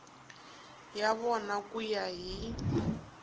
ya vona ku ya hi